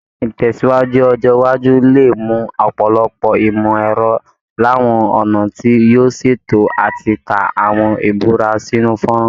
Ìtẹ̀síwájú ọjọ́ iwájú lè mú ọ̀pọ̀lọpọ̀ ìmọ̀ ẹ̀rọ làwọn ọ̀nà tí yóò ṣètò àti ká àwọn ìbúra sínú fọ́nrán